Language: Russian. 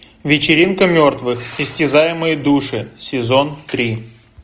вечеринка мертвых истязаемые души сезон три